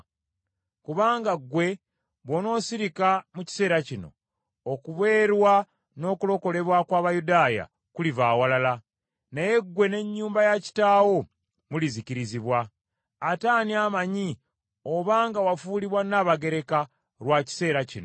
Kubanga ggwe bw’onoosirika mu kiseera kino, okubeerwa n’okulokolebwa kw’Abayudaaya kuliva awalala, naye ggwe n’ennyumba ya Kitaawo mulizikizibwa. Ate ani amanyi obanga wafuulibwa Nnabagereka lwa kiseera kino?”